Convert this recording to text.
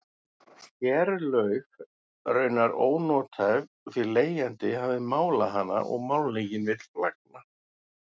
Kerlaug raunar ónothæf því leigjandi hafði málað hana og málningin vill flagna.